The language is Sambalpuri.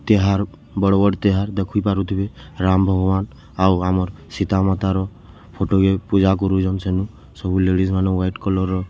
ତିହାର୍‌ ବଡ ବଡ଼ ତିହାର୍‌ ଦେଖି ପାରୁଥିବେ ରାମ୍‌ ଭଗବାନ୍‌ ଆଉ ଆମର୍‌ ସୀତା ମାତା ର ଫଟୋ କେ ପୂଜା କରୁଛନ୍‌ ସେନୁ ସବୁ ଲେଡ଼ିଜ୍ ମାନେ ହ୍ୱାଇଟ କଲର୍‌ ର--